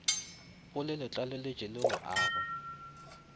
polelotlaleletšo le go a go